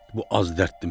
Bu az dərddirmi?